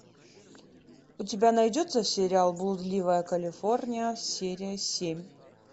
у тебя найдется сериал блудливая калифорния серия семь